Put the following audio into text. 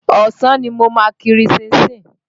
Ọ̀sán ni mo ma kiri ṣínṣin.